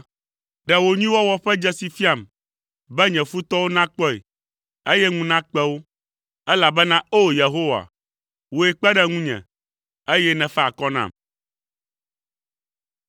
Ɖe wò nyuiwɔwɔ ƒe dzesi fiam, be nye futɔwo nakpɔe, eye ŋu nakpe wo, elabena o Yehowa, wòe kpe ɖe ŋunye, eye nèfa akɔ nam.